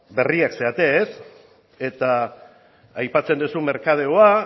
berriak zarete eta aipatzen duzu merkadeoa